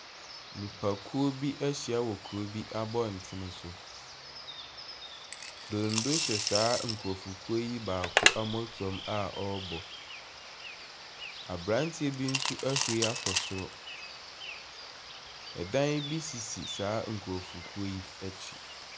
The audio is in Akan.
Nnipakuo bi ahyia wɔ kuro bi abɔnten so. Donno hyɛ saa nkurofokuo yi baako mmɔtoam a ɔrebɔ. Abranteɛ bi nso ahuri akɔ soro. ℇdan bi sisi saa nkurɔfokuo yi akyi.